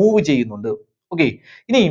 move ചെയ്യുന്നുണ്ട്. okay. ഇനി